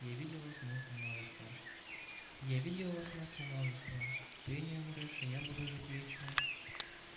я видела снов множество я видела снов множество ты не умрёшь и я буду жить вечно